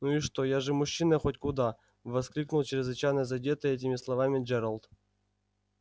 ну и что я же мужчина хоть куда воскликнул чрезвычайно задетый этими словами джералд